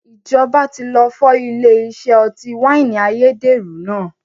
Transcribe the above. Ìjọba tí lọ fọ́ ilé iṣẹ́ ọtí wáìnì ayédèrú náà